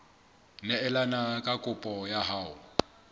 neelane ka kopo ya hao